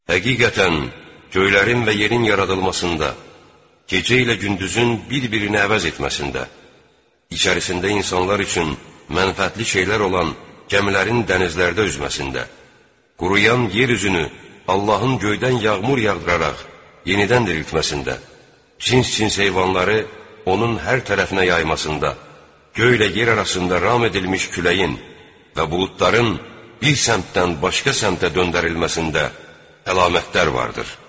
Həqiqətən, göylərin və yerin yaradılmasında, gecə ilə gündüzün bir-birini əvəz etməsində, içərisində insanlar üçün mənfəətli şeylər olan gəmilərin dənizlərdə üzməsində, quruyan yer üzünü Allahın göydən yağmur yağdıraraq yenidən diriltməsində, cins-cins heyvanları onun hər tərəfinə yaymasında, göylə yer arasında ram edilmiş küləyin və buludların bir səmtdən başqa səmtə döndərilməsində əlamətlər vardır.